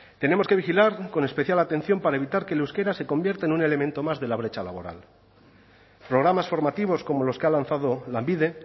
tenemos que vigilar con especial atención para evitar que el euskera se convierta en un elemento más de la brecha laboral programas formativos como los que ha lanzado lanbide